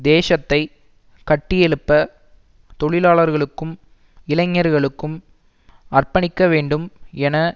தேசத்தை கட்டியெழுப்ப தொழிலாளர்களும் இளைஞர்களுக்கும் அர்ப்பணிக்க வேண்டும் என